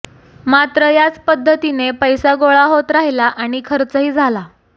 मात्र याच पध्दतीने पैसा गोळा होत राहिला आणि खर्चही झाला